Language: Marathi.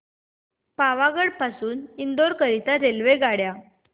पावागढ पासून इंदोर करीता रेल्वेगाड्या